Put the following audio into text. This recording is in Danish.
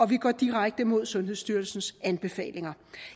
vi går direkte imod sundhedsstyrelsens anbefalinger